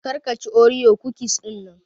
Kar ka chi Oreo cookies dinnan.